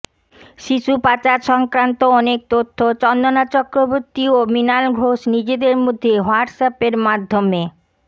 শিশু পাচার সংক্রান্ত অনেক তথ্য চন্দনা চক্রবর্তী ও মৃণাল ঘোষ নিজেদের মধ্যে হোয়াটস অ্যাপের মাধ্যমে